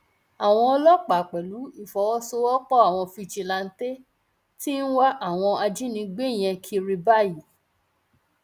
àwọn ọlọpàá pẹlú ìfọwọsowọpọ àwọn fíjíláńtẹ tí ń wá àwọn ajínigbé yẹn kiri báyìí